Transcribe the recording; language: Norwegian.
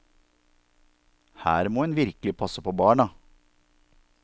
Her må en virkelig passe på barna.